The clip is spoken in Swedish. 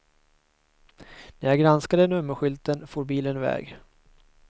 När jag granskade nummerskylten for bilen iväg.